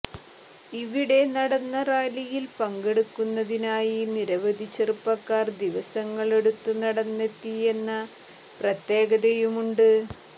ഇവിടെ നടന്ന റാലിയിൽ പങ്കെടുക്കുന്നതിനായി നിരവധി ചെറുപ്പക്കാർ ദിവസങ്ങളെടുത്ത് നടന്നെത്തിയെന്ന പ്രത്യേകതയുമുണ്ട്